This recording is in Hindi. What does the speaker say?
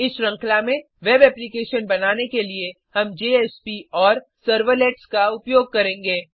इस श्रृंखला में वेब एप्लीकेशन बनाने के लिए हम जेएसपी और सर्वलेट्स का उपयोग करेंगे